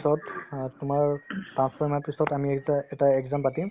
তাৰপিছত অ তোমাৰ ing পাঁচ ছয় মাহ পিছত আমি এটা এটা exam পাতিম